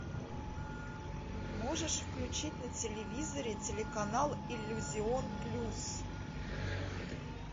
можешь включить на телевизоре телеканал иллюзион плюс